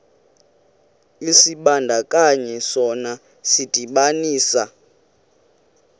isibandakanyi sona sidibanisa